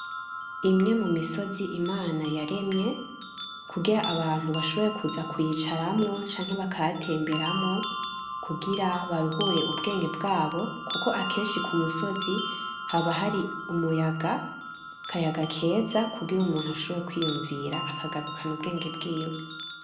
Imwe mu misozi Imana yaremye, kugira abantu bashobore kuza kuyicaramwo canke bakayatemberamwo kugira baruhure ubwenge bwabo kuko akenshi ku musozi haba hari umuyaga, akayaga keza, kugira umuntu ashobore kwiyumvira akagarukana ubwenge bwiwe.